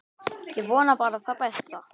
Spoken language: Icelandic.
Ég vona bara það besta.